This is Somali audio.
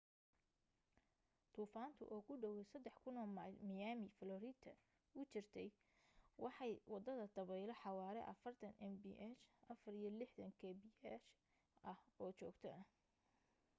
duufaantu oo ku dhawaad 3,000 mayl miami florida u jirta waxay wadataa dabaylo xawaare 40 mph64kph ah oo joogto ah